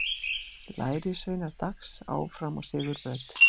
Lærisveinar Dags áfram á sigurbraut